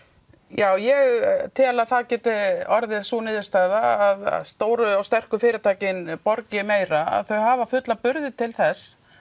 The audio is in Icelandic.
já ég tel að það gæti orðið sú niðurstaða að stóru og sterku fyrirtækin borgi meira þau hafa fulla burði til þess